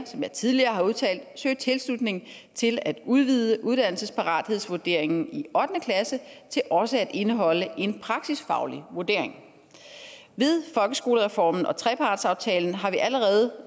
som jeg tidligere har udtalt søge tilslutning til at udvide uddannelsesparathedsvurderingen i ottende klasse til også at indeholde en praksisfaglig vurdering med folkeskolereformen og trepartsaftalen har vi allerede